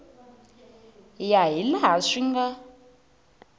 ya hi laha swi nga